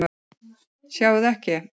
Sjáið þið ekki?